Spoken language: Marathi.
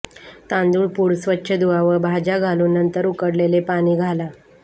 तांदूळ पूड स्वच्छ धुवा व भाज्या घालून नंतर उकडलेले पाणी घाला